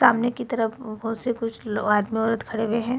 सामने की तरफ बहोत से कुछ लो आदमी औरत खड़े हुए हैं।